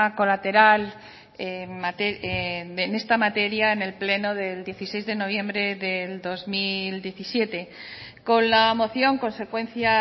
colateral en esta materia en el pleno del dieciséis de noviembre del dos mil diecisiete con la moción consecuencia